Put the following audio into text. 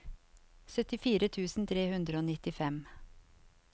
syttifire tusen tre hundre og nittifem